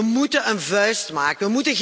We moeten een vuist maken.